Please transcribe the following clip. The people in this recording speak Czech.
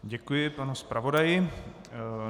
Děkuji panu zpravodaji.